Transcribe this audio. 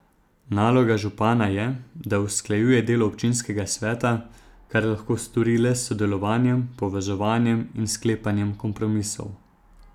Naloga župana je, da usklajuje delo občinskega sveta, kar lahko stori le s sodelovanjem, povezovanjem in sklepanjem kompromisov.